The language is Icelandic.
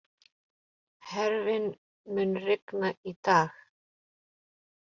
Hervin, mun rigna í dag?